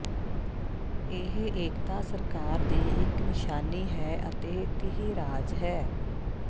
ਇਹ ਏਕਤਾ ਸਰਕਾਰ ਦੀ ਇੱਕ ਨਿਸ਼ਾਨੀ ਹੈ ਅਤੇ ਤੀਹ ਰਾਜ ਹੈ